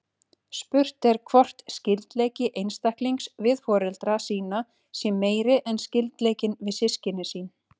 Spurt er hvort skyldleiki einstaklings við foreldra sína sé meiri en skyldleikinn við systkin sín.